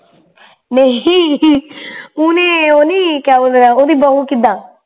ਨਹੀ ਓਨੇ ਓਨੀ ਕਿਆ ਬੋਲਦਾ ਉਹਦੀ ਬਹੂ ਕਿੱਦਾ